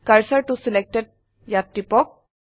কাৰ্চৰ ত ছিলেক্টেড ত টিপক